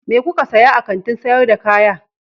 Me kuka saya a kantin sayar da kaya?